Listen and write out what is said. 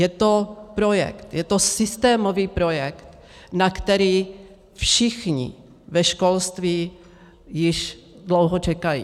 Je to projekt, je to systémový projekt, na který všichni ve školství již dlouho čekají.